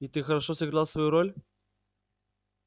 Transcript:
и ты хорошо сыграл свою роль